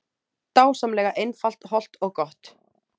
Dásamlega einfalt, hollt og gott